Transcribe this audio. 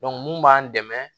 mun b'an dɛmɛ